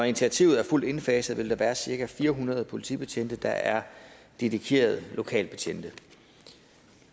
initiativet er fuldt indfaset vil der være cirka fire hundrede politibetjente der er dedikerede lokalbetjente